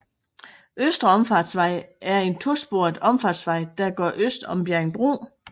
Østre Omfartsvej er en to sporet omfartsvej der går øst om Bjerringbro